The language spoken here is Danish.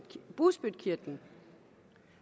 bugspytkirtlen